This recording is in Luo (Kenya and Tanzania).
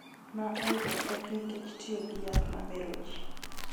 Ma oyudo pek nikech tiyo gi yath ma mero ji.